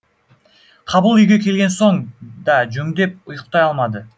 қабыл үйге келген соң да жөндеп ұйықтай алмады